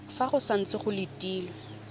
fa go santse go letilwe